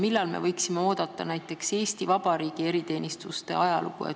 Millal me võiksime oodata näiteks Eesti Vabariigi eriteenistuste ajalugu?